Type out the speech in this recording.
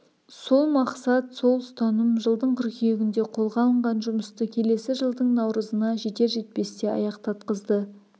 сол мақсат сол ұстаным жылдың қыркүйегінде қолға алынған жұмысты келесі жылдың наурызына жетер-жетпесте аяқтатқызды